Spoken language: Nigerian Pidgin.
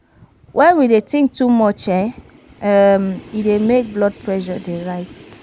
When we dey think too much e dey make blood pressure dey rise